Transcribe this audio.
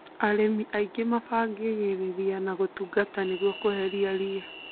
Arĩmi aingĩ mabagĩriria na gũtũguta nĩguo kweheria ria